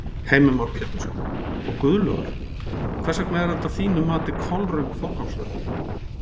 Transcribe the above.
Heimir Már Pétursson: Og Guðlaugur, hvers vegna er þetta að þínu mati kolröng forgangsröðun?